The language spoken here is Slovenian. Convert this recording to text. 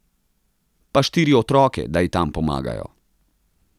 Pa štiri otroke, da ji tam pomagajo.